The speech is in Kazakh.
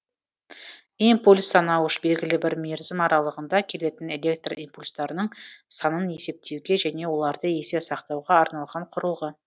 импульс санауыш белгілі бір мерзім аралығында келетін электро импульстарының санын есептеуге және оларды есте сақтауға арналған құрылғы